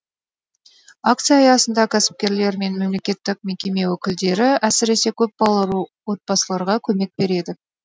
акция аясында кәсіпкерлер мен мемлекеттік мекеме өкілдері әсіресе көпбалалы отбасыларға көмек береді